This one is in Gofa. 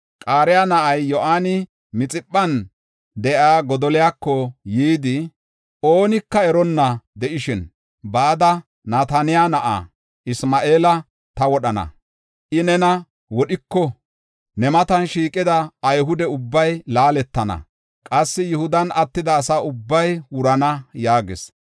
Qaraya na7ay Yohaani Mixiphan de7iya Godoliyako yidi, “Oonika eronna de7ishin bada, Nataniyaa na7aa Isma7eela ta wodhana. I nena wodhiko, ne matan shiiqida Ayhude ubbay laaletana; qassi Yihudan attida asa ubbay wurana” yaagis.